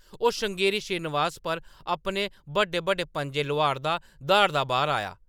ओह्‌‌ श्रृंगेरी श्रीनिवास पर अपने बड्डे-बड्डे पंʼजे लोआरदा, द्हाड़दा बाह्‌‌र आया ।